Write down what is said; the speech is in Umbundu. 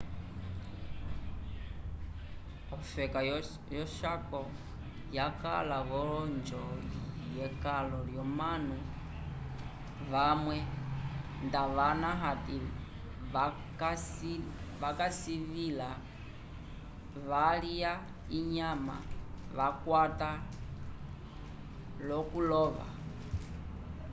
ofeka yo chaco yaka vo onjo yekalo yomanu vamwe ndavana ati kavasilivila valya inyama vakwata lokulova